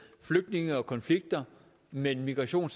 flygtninge og konflikter men migration